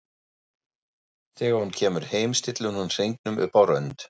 Þegar hún kemur heim stillir hún hringnum upp á rönd.